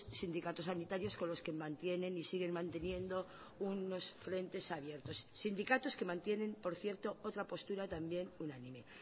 sindicatos sanitarios con los que mantienen y siguen manteniendo unos frentes abiertos sindicatos que mantienen por cierto otra postura también unánime